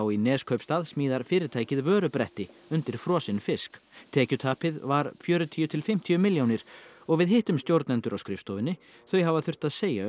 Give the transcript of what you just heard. í Neskaupstað smíðar fyrirtækið vörubretti undir frosinn fisk tekjutapið var fjörutíu til fimmtíu milljónir og við hittum stjórnendur á skrifstofunni þau hafa þurft að segja